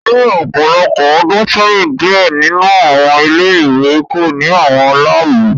Ni ọpọlọpọ ọdun sẹyin, diẹ ninu awọn ile-iwe ko ni awọn laabu